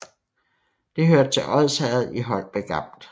Det hørte til Odsherred i Holbæk Amt